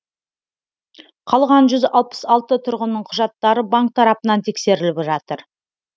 қалған тұрғынның құжаттары банк тарапынан тексеріліп жатыр